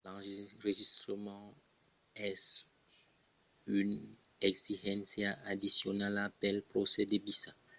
l'enregistrament es une exigéncia addicionala pel procès de visa. dins certans païses devètz enregistrar vòstra preséncia e l'adrèça ont demoratz en çò de las autoritats localas